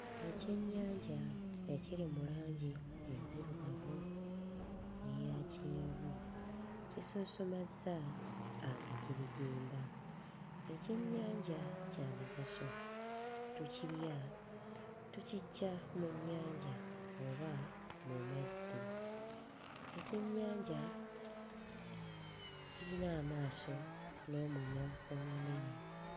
Ekyennyanja ekiri mu langi enzirugavu n'eya kyenvu kisonsomazza amagirigimba. Ekyennyanja kya mugaso; tukirya, tukiggya mu nnyanja oba mu mazzi, ekyennyanja kirina amaaso n'omumwa omunene.